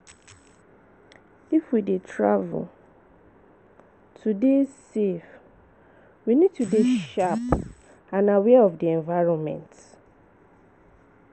if we dey travel to dey safe, we need to dey sharp and aware of di environment